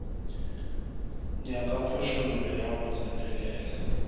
nyaka phošollo ya go tsenelela